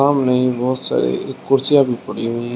सामने ही बहोत सारी कुर्सियां भी पड़ी हुई है।